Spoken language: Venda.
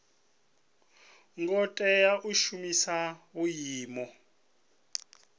ngo tea u shumisa vhuimo